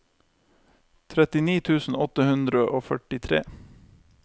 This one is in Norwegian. trettini tusen åtte hundre og førtitre